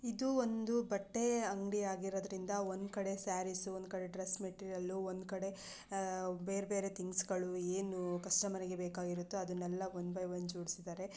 ಇದು ಒಂದು ಬಟ್ಟೆ ಅಂಗಡಿ ಆಗಿರದ್ರಿಂದ ಒಂದು ಕಡೆ ಸ್ಯಾರೀಸ್ ಒಂದು ಕಡೆ ಡ್ರೆಸ್ ಮೆಟೀರಿಯಲ್ ಒಂದು ಕಡೆ ಬೇರೆ ಬೇರೆ ಥಿಂಗ್ಸ್ಗಳು ಏನು ಕಸ್ಟಮರ್ ಗೆ ಬೇಕಾಗಿರುತೋ ಅದುನ್ನೆಲ್ಲ ಒನ್ ಬೈ ವನ್ ಜೋಡಿಸಿದರೆ.